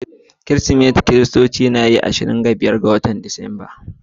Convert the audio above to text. Kirsimati biki ne na Kirista da ake yi a kowane ranar ashirin da biyar ga watan Disamba.